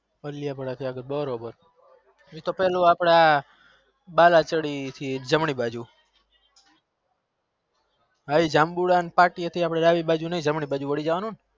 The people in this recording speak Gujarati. ઓળયા વાળા થી અગર બરોબર બાલવાડી થી જમરી બાજુ એ જમુંડા થી ડાબી બાજુ નઈ જમરી સાઈ ડ વારી જવાનું